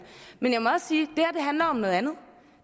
men jeg må også sige at handler om noget andet